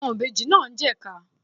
Àwọn ìbejì náà ń jẹ́ ìka.